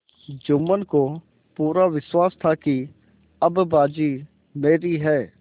जुम्मन को पूरा विश्वास था कि अब बाजी मेरी है